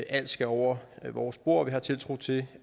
alt skal over vores bord og vi har tiltro til